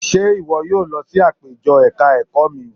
Ṣé ìwọ yóò lọ sí àpéjọ ẹ̀ka ẹ̀kọ́ mi?